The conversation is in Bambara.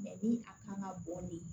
ni a kan ka bɔ nin